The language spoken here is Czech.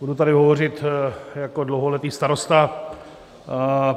Budu tady hovořit jako dlouholetý starosta.